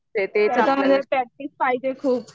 practice पाहिजे खूप